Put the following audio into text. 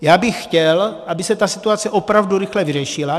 Já bych chtěl, aby se ta situace opravdu rychle vyřešila.